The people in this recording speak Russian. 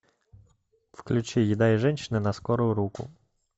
включи еда и женщины на скорую руку